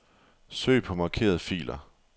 Søg på markerede filer.